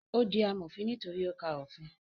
Ó di amòfin nítorí ó ka òfin